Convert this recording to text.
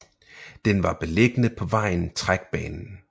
Den var beliggende på vejen Trækbanen